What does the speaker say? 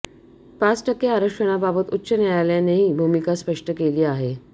पाच टक्के आरक्षणाबाबत उच्च न्यायालयानेही भूमिका स्पष्ट केली आहे